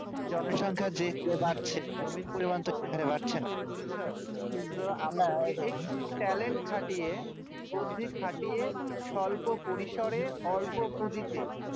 জন সংখ্যা যে হরে বাড়ছে জমির পরিমান সে হারে বাড়ছেনা বুজছো talent খাটিয়ে বুদ্ধি খাটিয়ে স্বল্প পরিসরে অল্প পুঁজিতে